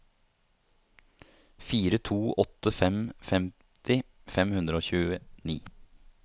fire to åtte fem femti fem hundre og tjueni